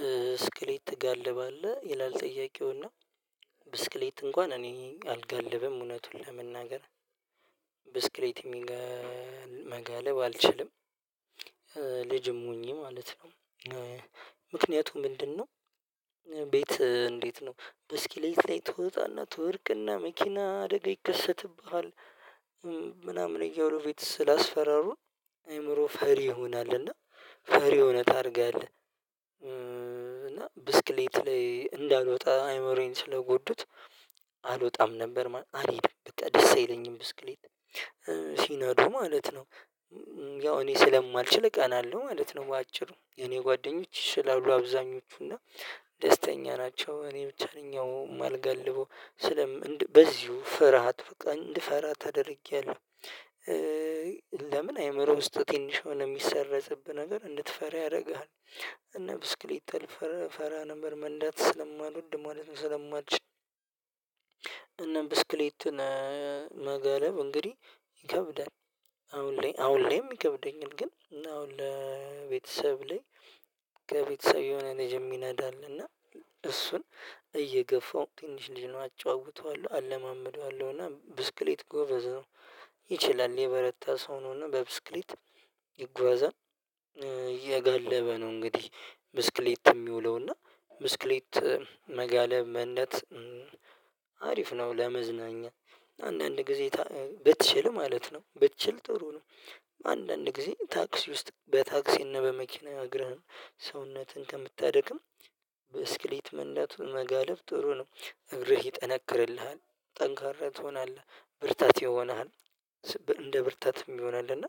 ብስክሌት ትጋልባለህ ይላል? ጥያቄውና ብስክሌት እንኳን እኔ አልጋልብም እውነቱን ለመናገር ብስክሌት መጋለብ አልችልም ልጅም ሆኜ ማለት ነው። ምክንያቱም ምንድነው? ቤት እንዴት ነው ብስክሌት ላይ ትወጣና ትወድቅና መኪና አደጋ ይከሰትብሃል ምናምን እያሉ ቤት ስላስፈራሩ አይምሮ ፈሪ ይሆናል እና ፈሪ ሁነህ ታድጋለህ። ብስክሌት ላይ እንዳልወጣ አይምሮየን ስለጎዱት አልወጣም ነበር አልሄድም በቃ ደስ አይለኝም ብስክሌት ሲነዱ ማለት ነው። ያው እኔ ስለማልችል እቀናለሁ ማለት ነው። በአጭሩ የኔ ጓደኞች ይችላሉ አብዛኞቹ እና ደስተኛ ናቸው እኔ ብቻ ነኝ ማልጋልበው። በዚሁ ፍርሃት በቃ እንድፈራ ተደርጌያለሁ። ለምን አይምሮ ውስጥ ትንሽ ሆነ የሚሰረጽብህ ነገር እንድትፈራ ያደርግሃል። እነ ብስክሌት እፈራ ነበር መንዳት ስለማልወድ ማለት ነው። ስለማልችል እናም ብስክሌትን መገለብ እንግዲህ ይከብዳል። አሁን አሁን ይከብደኛል ግን አሁን ለቤተሰብ ላይ ከቤተሰብ የሆነ ልጅ የሚነዳ አለና። እሱን ትንሽ ልጅ ነው አጫውተዋለሁ አለማምደዋለሁ እና ብስክሌት ጎበዝ ነው። ይችላል የበረታ ሰው ነው እና በብስክሌት ይጓዛል። እየጋለበ ነው እንግዲህ ብስክሌት የሚውለው እና ብስክሌት መጋለብ መንዳት አሪፍ ነው። ለመዝናኛ አንዳንድ ጊዜ ብትችል ማለት ነው ብትችል ጥሩ ነው። አንዳንድ ጊዜ ታክሲ ውስጥ በታክሲና በመኪና እግርህን ሰውነትን ከምታደክም በስክሌት መንዳቱ መጋለብ ጥሩ ነው። እግርህ ይጠነክርልሃል ጠንካራ ትሆናለህ ብርታት ይሆንሃል። እንደ ብርታትም ይሆናል። እና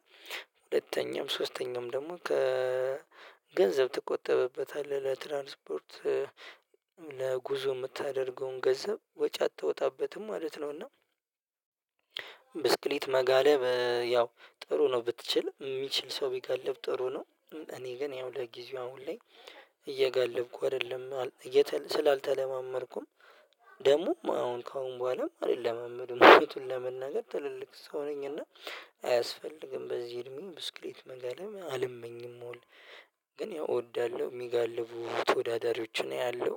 ሁለተኛም ሶስተኛም ደግሞ ከገንዘብ ትቆጠብበታለህ ለትራንስፖርት ለጉዞ የምታደርገውን ገንዘብ ወጪ አታወጣበትም ማለት ነውና። እና ብስክሌት መጋለብ ያው ጥሩ ነው ብትችል የሚችል ሰው ቢገልብ ጥሩ ነው። እኔ ግን ያው ለጊዜው አሁን ላይ እየጋለብኩ አይደለም ስላልተለማመድኩም ደግሞም አሁን ከአሁን በኋላም አልለማመድም ለመናገር ትልልቅ ሰው ነኝና። አያስፈልግም በዚህ እድሜ ብስክሌት መጋለብ አልመኝም መሆን። ግን ያው እወዳለሁ የሚጋልቡ ተወዳዳሪዎች ነው ያለው